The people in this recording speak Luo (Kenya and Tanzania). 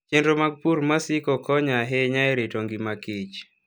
Chenro mag pur ma siko konyo ahinya e rito ngima kich